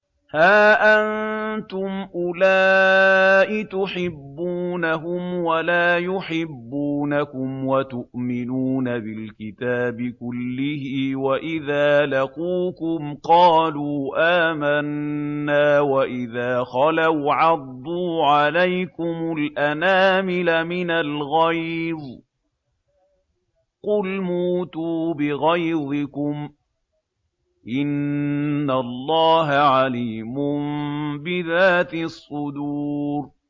هَا أَنتُمْ أُولَاءِ تُحِبُّونَهُمْ وَلَا يُحِبُّونَكُمْ وَتُؤْمِنُونَ بِالْكِتَابِ كُلِّهِ وَإِذَا لَقُوكُمْ قَالُوا آمَنَّا وَإِذَا خَلَوْا عَضُّوا عَلَيْكُمُ الْأَنَامِلَ مِنَ الْغَيْظِ ۚ قُلْ مُوتُوا بِغَيْظِكُمْ ۗ إِنَّ اللَّهَ عَلِيمٌ بِذَاتِ الصُّدُورِ